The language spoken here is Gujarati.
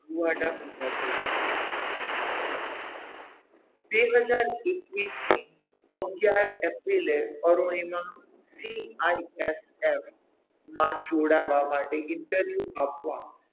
રુવાડા ઉભા થઈ જાય છે બે હજાર એકવીસ ની અગિયાર એપ્રિલએ અરુણિમા CIFF માં જોડાવા માટે interview આપવા,